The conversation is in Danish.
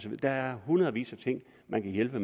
der er hundredvis af ting man kan hjælpe